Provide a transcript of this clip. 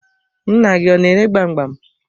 Nna gị ọ na-ere gbam gbam.